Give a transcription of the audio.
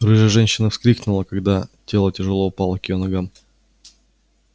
рыжая женщина вскрикнула когда тело тяжело упало к её ногам